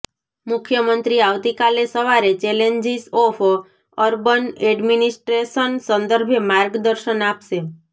મુખ્યમંત્રી આવતીકાલે સવારે ચેલેન્જિસ ઓફ અર્બન એડમિનિસ્ટ્રેશન સંદર્ભે માર્ગદર્શન આપશે